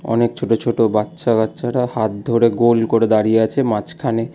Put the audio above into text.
অনেক ছোট ছোট বাচ্চা কাচ্চারা হাত ধরে গোল করে দাঁড়িয়ে আছে মাঝখানে।